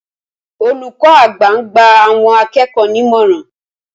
Olùkó àgbà ń gba àwọn akẹ́kọ̀ọ́ ní ìmọ̀ràn